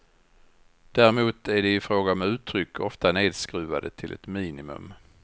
Däremot är de i fråga om uttryck ofta nedskruvade till ett minimum.